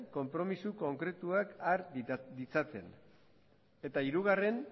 konpromiso konkretuak har ditzaten eta hirugarren